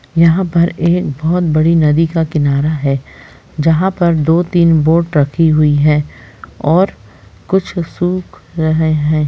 यहाँ पर एक बहुत बड़ी नदी का किनारा है जहाँ पर दो-तीन बोट रखी हुई है और कुछ सूख रहे हैं।